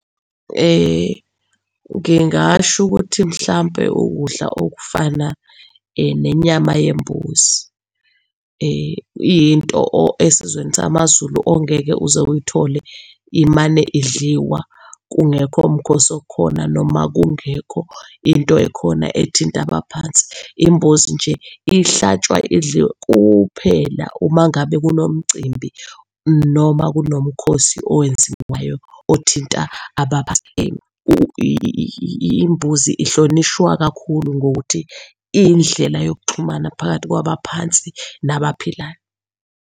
Ngingasho ukuthi mhlampe ukudla okufana nenyama yembuzi iyinto esizweni samaZulu ongeke uze uyithole imane idliwa kungekho mkhosi okhona, noma kungekho into ekhona ethinta abaphansi. Imbuzi nje ihlatshwa idliwe kuphela uma ngabe kunomcimbi noma kunomkhosi owenziwayo othinta abaphansi. Imbuzi ihlonishwa kakhulu ngokuthi iyindlela yokuxhumana phakathi kwabaphansi nabaphilayo.